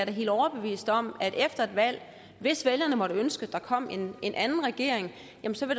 er helt overbevist om at der efter et valg hvis vælgerne måtte ønske at der kom en en anden regering